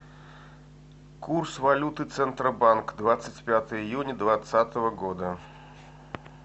курс валюты центробанк двадцать пятое июня двадцатого года